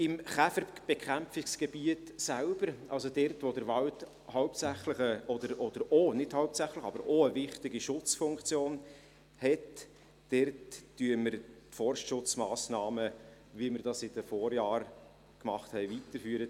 Im Käferbekämpfungsgebiet selbst, also dort, wo der Wald hauptsächlich oder auch – nicht hauptsächlich, sondern auch – eine wichtige Schutzfunktion hat, dort führen wir die Forstschutzmassnahmen weiter, so wie wir das in den vergangenen Jahren taten.